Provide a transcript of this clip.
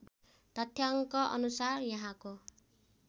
तथ्याङ्क अनुसार यहाँको